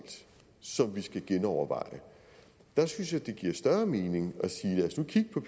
som vi skal genoverveje der synes jeg det giver større mening at sige lad os nu kigge på